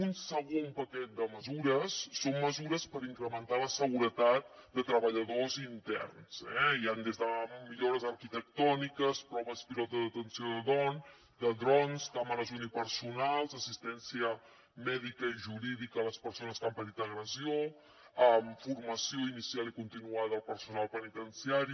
un segon paquet de mesures són mesures per incrementar la seguretat de treballadors interns eh hi han des de millores arquitectòniques proves pilot de detenció de drons càmeres unipersonals assistència mèdica i jurídica a les persones que han patit agressió formació inicial i continuada al personal penitenciari